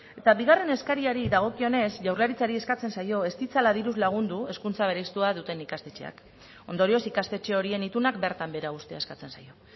eta bigarren eskariari dagokionez jaurlaritzari eskatzen zaio ez ditzala diruz lagundu hezkuntza bereiztua duten ikastetxeak ondorioz ikastetxe horien itunak bertan behera uztea eskatzen zaio